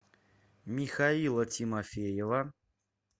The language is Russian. михаила тимофеева